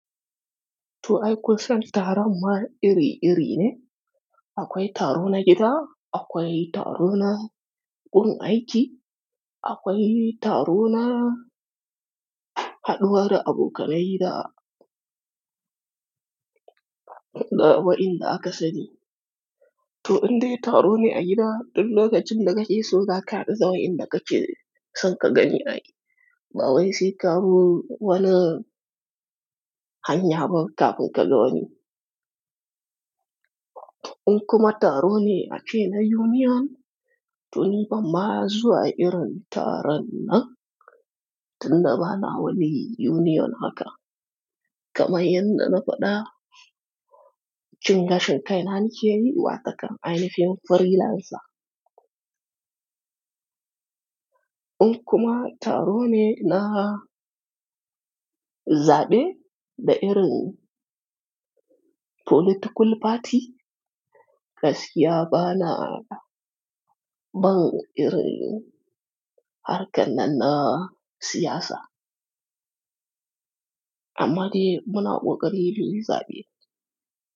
To ai kun son taron ma iri-iri ne. Akwai taro na gida, akwai taro na gun aiki, akwai taro na haɗuwar abokanai da, da waɗanda aka sani. To inde taro ne a gida, in lokacin da kake so za ka haddu gawayin da kae so ka gani a ba wai sai ka zo wani hanya ba kafin ka ga wani. In kuma taro ne a cike na union, to ni ba ma zuwa irin taron nan, tunda bana wani union haka. Kamai yadda na faɗa, cin gashin kai na nake yi waɗannan ainifiyun freelancer. In kuma taro ne na zaɓe da irin political party, gaskiya bana ban irin harkar nan na siyasa. Amma dai muna ƙoƙari muyi zaɓe.